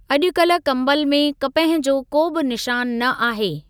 अॼुकल्ह कंबल में कपह जो को बि निशान न आहे।